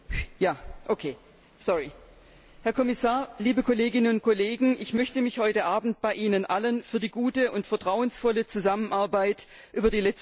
Frau Präsidentin, Herr Kommissar, liebe Kolleginnen und Kollegen! Ich möchte mich heute Abend bei Ihnen allen für die gute und vertrauensvolle Zusammenarbeit während der letzten Wochen bedanken.